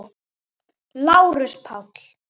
LÁRUS: Páll!